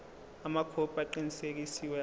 amakhophi aqinisekisiwe abo